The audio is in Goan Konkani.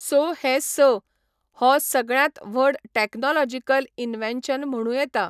सो हे स, हो सगळ्यांत व्हड टॅक्नॉलॉजिकल इन्वॅन्शन म्हणूं येता.